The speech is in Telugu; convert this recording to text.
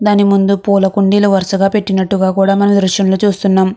దాని ముందూ పుల్ల కుండిల్లు కూడా వరసగా పెట్టినట్టుగా కూడా మనం ఈ దృశ్యం లో చుస్తునాం.